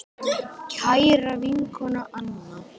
Kæra vinkona Anna.